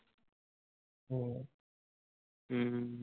ਹਮ